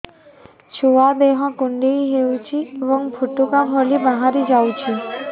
ଛୁଆ ଦେହ କୁଣ୍ଡେଇ ହଉଛି ଏବଂ ଫୁଟୁକା ଭଳି ବାହାରିଯାଉଛି